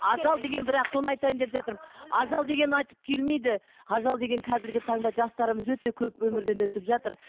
ажал деген бірақ соны айтайын деп жатырмын ажал деген айтып келмейді ажал деген қазіргі таңда жастарымыз өте көп өмірден өтіп жатыр